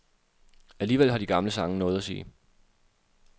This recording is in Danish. Alligevel har de gamle sange noget at sige.